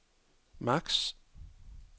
max